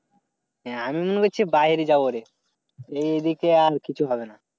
হ্যাঁ আমি মনে করছি বাইরে যাব। এইদিকে আর কিছু হবে না।